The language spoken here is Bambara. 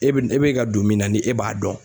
E bɛ e bɛ ka don min na ni e b'a dɔn